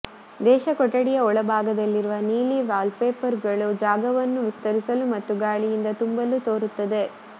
ದೇಶ ಕೊಠಡಿಯ ಒಳಭಾಗದಲ್ಲಿರುವ ನೀಲಿ ವಾಲ್ಪೇಪರ್ಗಳು ಜಾಗವನ್ನು ವಿಸ್ತರಿಸಲು ಮತ್ತು ಗಾಳಿಯಿಂದ ತುಂಬಲು ತೋರುತ್ತದೆ